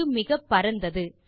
அது மிகப்பரந்தது